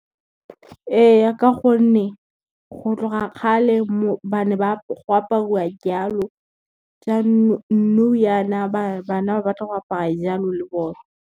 Ee ka gonne, go tloga kgale go aparwa jalo nou jaana bana ba batla go apara jalo le bone.